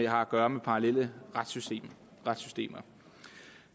har at gøre med parallelle retssystemer